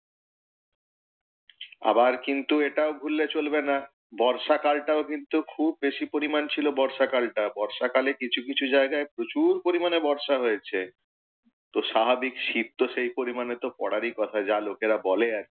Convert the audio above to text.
আবার কিন্তু এটাও ভুললে চলবে না, বর্ষা কালটাও কিন্তু খুব বেশী পরিমাণ ছিল বর্ষা কালটা। বর্ষাকালে কিছু কিছু জায়গায় প্রচূর পরিমাণে বর্ষা হয়েছে। তো স্বাভাবিক শীত তো সেই পরিমাণে তো পড়ারই কথা, যা লোকেরা বলে আর কি।